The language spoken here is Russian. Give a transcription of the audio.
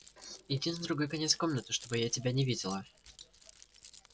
иди на другой конец комнаты чтобы я тебя не видела